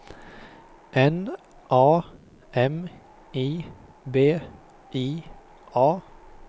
N A M I B I A